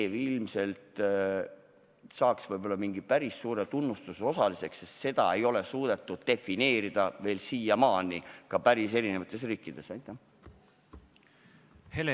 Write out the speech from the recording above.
–, saaks ilmselt võib-olla mingi päris suure tunnustuse osaliseks, sest seda nähtust ei ole siiamaani päris erinevates riikides suudetud defineerida.